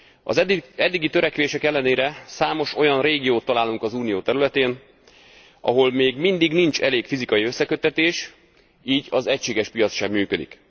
Az eddigi törekvések ellenére számos olyan régiót találunk az Unió területén, ahol még mindig nincs elég fizikai összeköttetés, így az egységes piac sem működik.